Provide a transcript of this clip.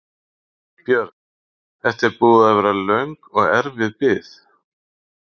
Björn: Þetta er búin að vera löng og erfið bið?